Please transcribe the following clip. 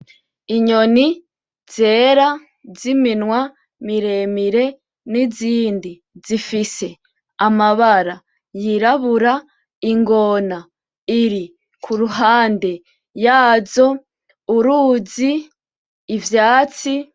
Inyoni zera z’iminwa miremire, n’izindi zifise amabara y'irabura ,ingona iri kuruhande yazo, uruzi, ivyatsi .